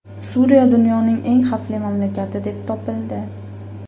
Suriya dunyoning eng xavfli mamlakati deb topildi.